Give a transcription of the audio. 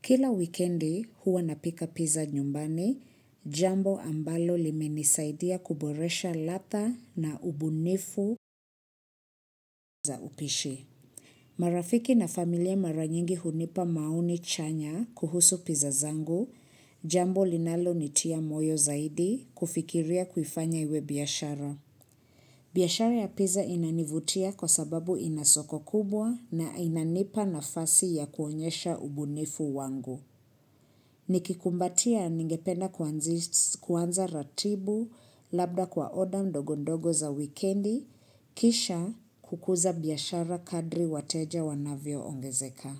Kila wikendi huwa napika pizza nyumbani, jambo ambalo limenisaidia kuboresha ladha na ubunifu za upishi. Marafiki na familia maranyingi hunipa maoni chanya kuhusu pizzangu, jambo linalo nitia moyo zaidi kufikiria kufanya iwe biashara. Biyshara ya pizza inanivutia kwa sababu inasoko kubwa na inanipa nafasi ya kuonyesha ubunifu wangu. Nikikumbatia ningependa kuanza ratibu, labda kwa oda ndogondogo za wikendi, kisha kukuza biashara kadri wateja wanavyo ongezeka.